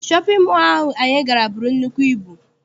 Shọpịn mọọ ahụ anyị gara buru nnukwu ibu.